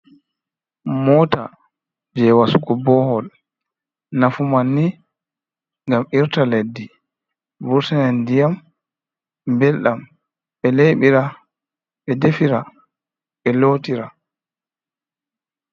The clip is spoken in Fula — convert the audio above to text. Moota jey wasugo boohol, nafu manni ngam irta leddi, wasane ndiyam mbelɗam, ɓe leɓira, ɓe defira, ɓe lootira.